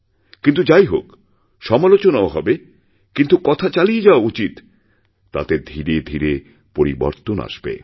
কিন্তু যাই হোকসমালোচনাও হবে কিন্তু কথা চালিয়ে যাওয়া উচিত তাতে ধীরে ধীরে পরিবর্তন আসবে